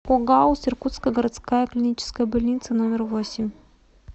огауз иркутская городская клиническая больница номер восемь